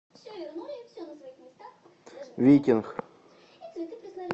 викинг